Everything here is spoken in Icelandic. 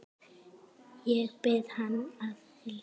Ég bið að heilsa